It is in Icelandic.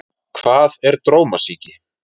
Hvað er drómasýki?